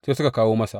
Sai suka kawo masa.